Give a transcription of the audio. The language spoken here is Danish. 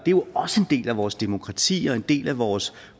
jo også en del af vores demokrati og en del af vores